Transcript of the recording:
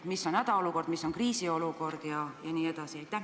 Mis on hädaolukord, mis on kriisiolukord jne?